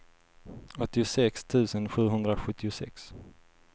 åttiosex tusen sjuhundrasjuttiosex